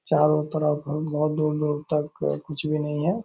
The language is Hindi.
चारों तरफ बहुत-बहुत दूर-दूर तक कुछ भी नहीं है ।